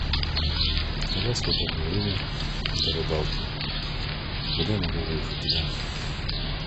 когда свободное время для рыбалки когда я могу выехать туда